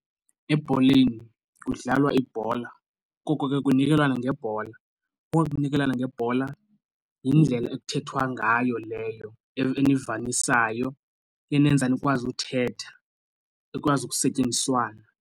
Ebholeni kudlalwa ibhola koko ke kunikelwana ngebhola, koko kunikelwana ngebhola yindlela ekuthethwa ngayo leyo enivanisayo enenza nikwazi uthetha, ikwazi ukusetyenziswana.